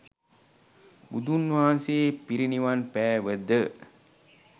බුදුන් වහන්සේ පිරිනිවන් පෑවද